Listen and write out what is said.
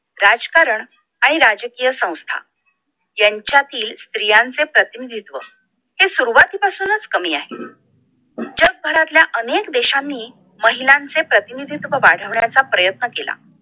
राजकारण आणि राजकीय संस्था ह्यांच्यातील स्त्रियांचे प्रतिनिधीत्व ते सुरवाती पासूनच कमी आहे जगभरातल्या अनेक देशांनी महिलांचे प्रतिनिधित्व वाढवण्याचा प्रयत्न केला